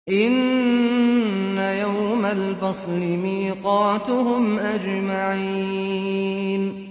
إِنَّ يَوْمَ الْفَصْلِ مِيقَاتُهُمْ أَجْمَعِينَ